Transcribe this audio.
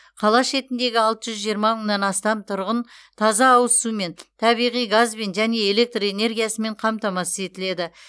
қала шетіндегі алты жүз жиырма мыңнан астам тұрғын таза ауыз сумен табиғи газбен және электр энергиясымен қамтамасыз етіледі